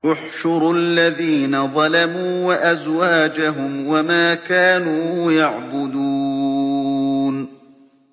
۞ احْشُرُوا الَّذِينَ ظَلَمُوا وَأَزْوَاجَهُمْ وَمَا كَانُوا يَعْبُدُونَ